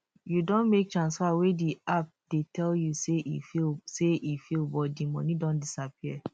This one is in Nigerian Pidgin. you don make transfer wey di app dey tell you say e fail say e fail but di money don disappear